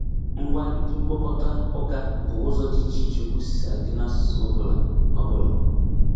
Ngwá ndị mkpokọta ụka bụ ụzọ dị iche iche okwu si adị n'asụsụ ọbụla. ọbụla.